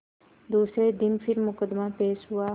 दूसरे दिन फिर मुकदमा पेश हुआ